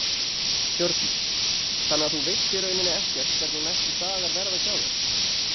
Hjördís: Þannig að þú veist í rauninni ekkert hvernig næstu dagar verða hjá þér?